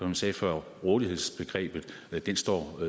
jeg sagde før rådighedsbegrebet står